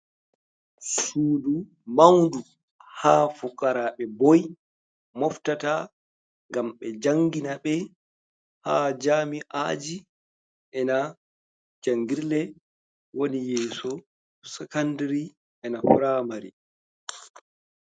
Suɗu maunɗu, ha fukaraɓe ɓoi moftata gam ɓe jangina ɓe ha jami’aji, ena jangirle woni yeso sakanɗiri ena pramari.